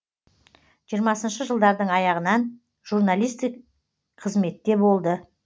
жиырмасыншы жылдардың аяғынан журналистик қызметте болды